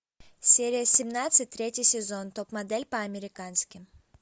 серия семнадцать третий сезон топ модель по американски